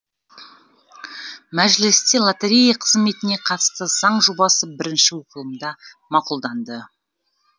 мәжілісте лотерея қызметіне қатысты заң жобасы бірінші оқылымда мақұлданды